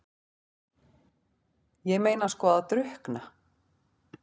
Ég meina sko að drukkna?